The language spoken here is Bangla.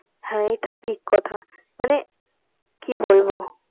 হ্যাঁ এটা ঠিক কথা মানে কি বলবো